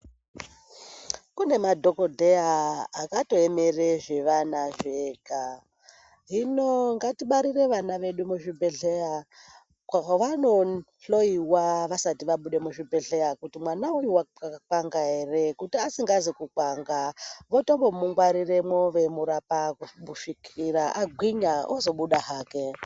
Kune madhokodheya akatoemere zvevana zvega. Hino ngatibare Vana vedu muzvibhedhleya mwavanohloiwa Avasati vabude muchibhedhleya ,kuti mwana uyu wakakwanga ere. Kuti asingazi kukwanga votombomungwariramwo veimurapa kusvika agwinya ozobuda hake.